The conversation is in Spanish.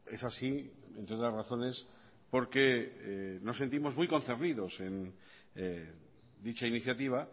es así entre otras razones porque nos sentimos muy concernidos en dicha iniciativa